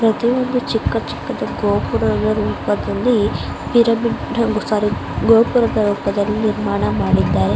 ಪ್ರತಿಯೊಂದು ಚಿಕ್ಕ ಚಿಕ್ಕದಕ್ಕೂಗೋಪುರದ ರೂಪದಲ್ಲಿ ಪಿರಮಿಡ್ ಸಾರೀ ಗೋಪುರದ ರೂಪದಲ್ಲಿ ನಿರ್ಮಾಣ ಮಾಡಿದ್ದಾರೆ.